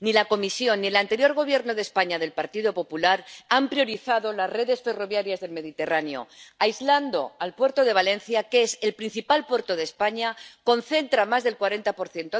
Ni la Comisión ni el anterior Gobierno de España, del Partido Popular, han priorizado las redes ferroviarias del Mediterráneo, aislando el puerto de Valencia, que es el principal puerto de España, concentra más del 40